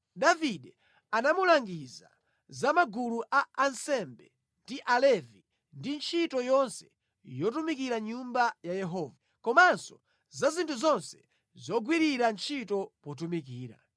Davide anamulangiza za magulu a ansembe ndi Alevi ndi ntchito yonse yotumikira mʼNyumba ya Yehova, komanso za zinthu zonse zogwirira ntchito potumikira.